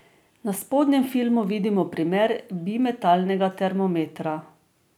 Na spodnjem filmu vidimo primer bimetalnega termometra.